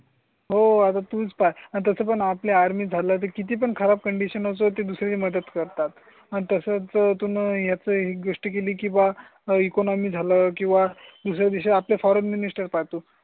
हो आता तुम्ही तसं पण आपली आर्मी झालं किती पण खराब कंडिशन असतो. दुसरी मदत करतात तसं तुम्ही ह्याचा ही गोष्ट केली किंवा इकॉनॉमी झाला किंवा दुसऱ्या दिवशी आपल्या फॉरेन मिस्टर पाहतो.